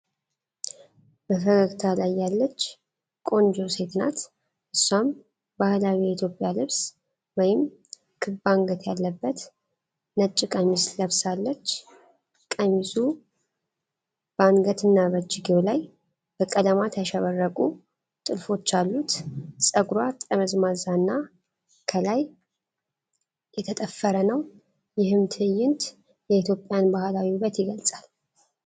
በፈገግታ ላይ ያለች ቆንጆ ሴት ናት። እሷም ባህላዊ የኢትዮጵያ ልብስ (ክብ-አንገት የለበሰ ነጭ ቀሚስ) ለብሳለች። ቀሚሱ በአንገትና በእጅጌው ላይ በቀለማት ያሸበረቁ ጥልፎች አሉት። ፀጉሯ ጠምዛዛና ከላይ የተጠፈረ ነው። ይህም ትዕይንት የኢትዮጵያን ባህላዊ ውበት ይገልጻል።